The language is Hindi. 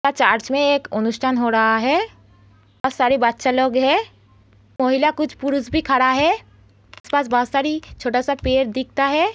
यहाँ चर्च में एक अनुष्ठान हो रहा है बहुत सारे बच्चा लोग है। महिला कुछ पुरुष भी खड़ा है उसके पास बहुत सारी छोटा सा पेड़ दिखता है।